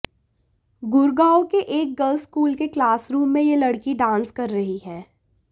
गुड़गांव के एक girls school के क्लासरूम में ये लड़की डांस कर रही है